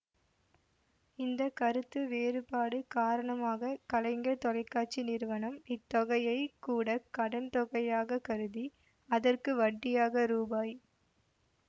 இந்த கருத்து வேறுபாடு காரணமாக கலைஞர் தொலைகாட்சி நிறுவனம் இத் தொகையை கூட கடன் தொகையாகக் கருதி அதற்கு வட்டியாக ரூபாய்